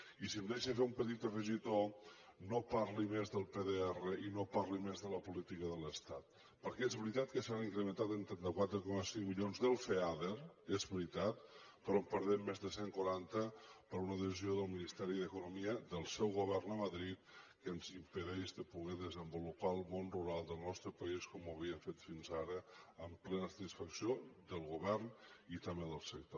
i si em deixa fer un petit afegitó no parli més del pdr i no parli més de la política de l’estat perquè és veritat que s’ha incrementant en trenta quatre coma cinc milions del feader és veritat però en perdem més de cent i quaranta per una decisió del ministeri d’economia del seu govern a madrid que ens impedeix de poder desenvolupar el món rural del nostre país com ho havíem fet fins ara amb plena satisfacció del govern i també del sector